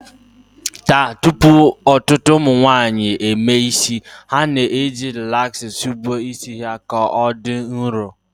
Taa, tupu ọtụtụ ụmụnwaanyị emee isi, ha na-eji rilaksa sigbuo isi ha ka ọ dị nrọ